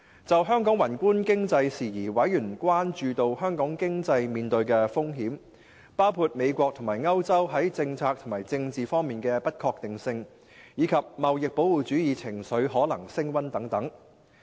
就香港宏觀經濟事宜，委員關注到香港經濟面對的風險，包括美國和歐洲在政策及政治方面的不確定性，以及貿易保護主義情緒可能升溫等。